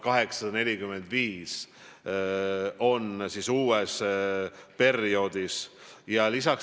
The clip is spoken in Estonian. Praegu peaks neid olema 1845.